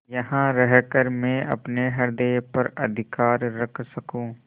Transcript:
यहाँ रहकर मैं अपने हृदय पर अधिकार रख सकँू